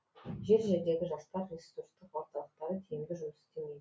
жер жердегі жастар ресурстық орталықтары тиімді жұмыс істемейді